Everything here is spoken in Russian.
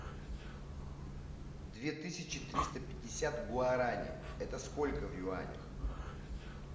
две тысячи триста пятьдесят гуарани это сколько в юанях